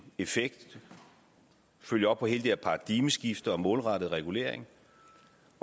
effekt ved at følge op på hele det her paradigmeskifte med målrettet regulering